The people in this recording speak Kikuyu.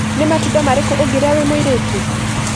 Nĩ matunda marĩkũ ũngĩrĩa wĩ mũritũ?